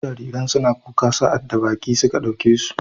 Wasu jariran suna kuka sa'ad da baƙi suka ɗauke su.